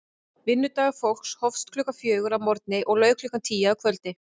Vinnudagur fólksins hófst klukkan fjögur að morgni og lauk klukkan tíu að kvöldi.